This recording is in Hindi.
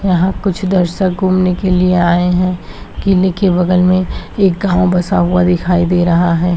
यहां कुछ दर्शक घूमने के लिए आये है किले के बगल में एक गांव बसा हुआ दिखाई दे रहा है।